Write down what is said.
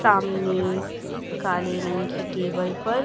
सामने काले रंग की टेबल पर--